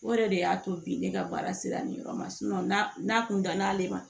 O yɛrɛ de y'a to bi ne ka baara sera nin yɔrɔ ma n'a kun dann'ale ma